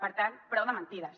per tant prou de mentides